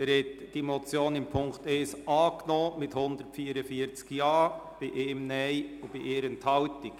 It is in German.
Sie haben die Motion in Punkt 1 mit 144 Ja-Stimmen angenommen, bei 1 Nein-Stimme und 1 Enthaltung.